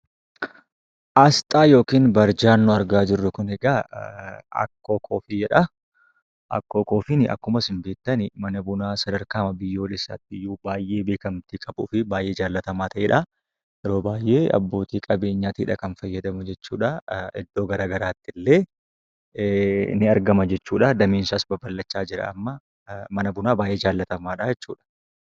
Aasxaan yookaan barjaan nuy argaa jirru Kun egaa, (akkoo coffee) jedhaa. Akkoo koffiin akkuma isin beektan mana bunaa sadarkaa biyyoolessaatti iyyuu baayyee beekamtii qabu fi baayyee jaallatamaa ta'edha. Yeroo baayyee abbootii qabeenyaati kan fayyadamu jechuudhaa. Iddoo garaagaraatti illee ni argama jechuudha. Dameen isaas babal'achaa jira ammaa, mana bunaa baayyee jallatamaadha jechuudha.